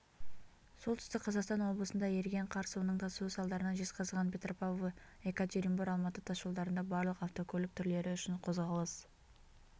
солтүстік қазақстан облысында еріген қар суының тасуы салдарынан жезқазған-петропавл екатеринбор-алматы тасжолдарында барлық автокөлік түрлері үшін қозғалыс